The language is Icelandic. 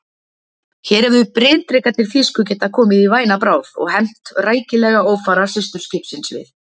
Hér hefðu bryndrekarnir þýsku getað komist í væna bráð og hefnt rækilega ófara systurskipsins við